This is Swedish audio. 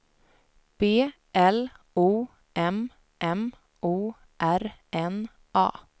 B L O M M O R N A